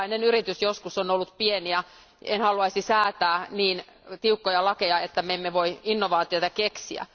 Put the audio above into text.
Jokainen yritys joskus on ollut pieni, ja en haluaisi säätää niin tiukkoja lakeja, että me emme voi innovaatioita keksiä.